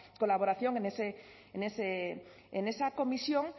colaboración en esa comisión